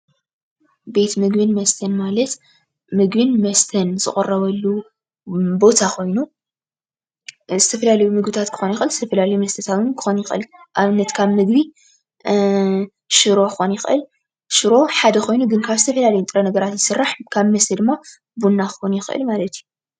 ቤት ምግብን መስተን ማለት ምግብን መስተን ዝቅረበሉ ቦታ ኮይኑ ዝተፈላለዩ ምግብታት ክኾን ይኽእል፣ ዝተፈላለዩ መስተታት ክኾን ይኽእል። ንኣብነት ፦ካብ ምግቢ ሽሮ ክኾን ይኽእል ሽሮ ሓደ ኮይኑ ካብ ዝተፈላለዩ ንጥረ-ነገራት ክስራሕ ፣ ካብ መስተ ድማ ቡና ክኾን ይኽእል ማለት እዩ።